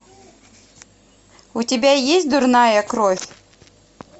у тебя есть дурная кровь